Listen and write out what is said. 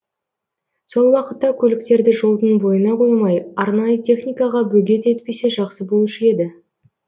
сол уақытта көліктерді жолдың бойына қоймай арнайы техникаға бөгет етпесе жақсы болушы еді